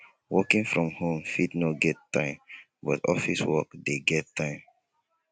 working from home fit no get time but office work de get time